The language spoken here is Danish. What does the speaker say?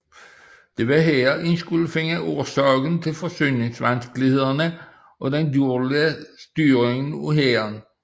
Det var her man skulle finde årsagen til forsyningsvanskelighederne og den dårlige styring af hæren